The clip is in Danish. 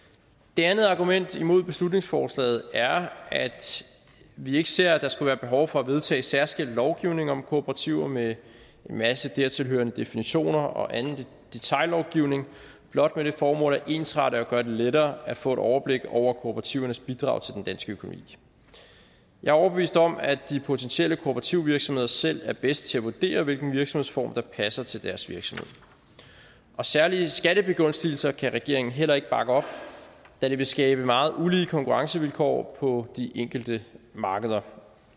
det andet argument imod beslutningsforslaget er at vi ikke ser at der skulle være behov for at vedtage en særskilt lovgivning om kooperativer med en masse dertilhørende definitioner og anden detaillovgivning blot med det formål at ensrette og gøre det lettere at få et overblik over kooperativernes bidrag til den danske økonomi jeg er overbevist om at de potentielle kooperative virksomheder selv er bedst til at vurdere hvilken virksomhedsform der passer til deres virksomhed og særlige skattebegunstigelser kan regeringen heller ikke bakke op da det vil skabe meget ulige konkurrencevilkår på de enkelte markeder